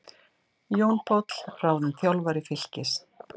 Jón Páll ráðinn þjálfari Fylkis